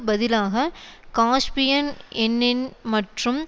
பதிலாக காஸ்பியன் எண்ணென் மற்றும்